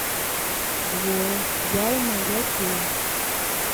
двое я и моя тень